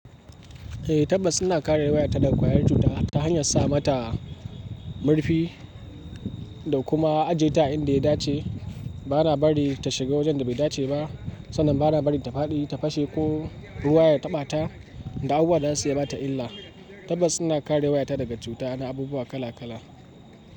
Eh, tabbar ina kare wayata daga ƙwayar cuta ta hanyar sa mata murfi da kuma ajiye ta a inda ya dace. Bana bari ta shiga wajen da bai dace ba, sannan bana bari ta faɗi, ta fashe ko ruwa ya taɓa ta da abubuwa da zasu iya bata illa. Tabbas ina kare wayata daga cuta na abubuwa kala kala.